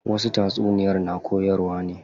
Wasu tatsuniyar na koyarwa ne.